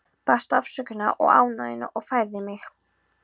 Baðst afsökunar á ónæðinu og færði mig.